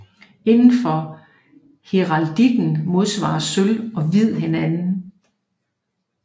Inden for heraldikken modsvarer sølv og hvid hinanden